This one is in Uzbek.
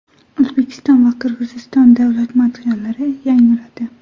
O‘zbekiston va Qirg‘iziston davlat madhiyalari yangradi.